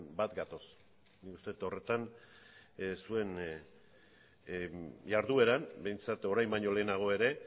bat gatoz nik uste dut horretan zuen jardueran behintzat orain baino lehenago ere